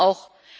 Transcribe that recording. Warum auch?